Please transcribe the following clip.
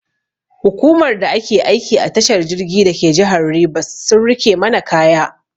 Hukumar da ke aiki a tashar jirgi dake jihar Rivers sun rike mana kaya.